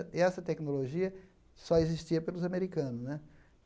E essa tecnologia só existia pelos americanos né.